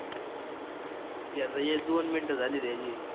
हे आता हे दोन मिनिटं झालीत याची.